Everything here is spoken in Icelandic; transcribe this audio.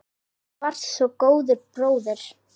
Þú varst svo góður bróðir.